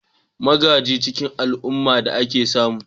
Magaji ci al'ummar da aka samu